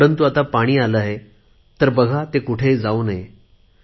परंतु आता पाणी आले आहे तर बघा ते कुठेही जाऊ नये